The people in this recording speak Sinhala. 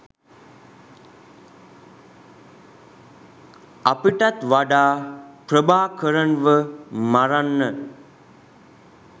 අපිටත් වඩා ප්‍රභාකරන්ව මරන්න